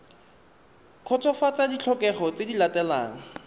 kgotsofatsa ditlhokego tse di latelang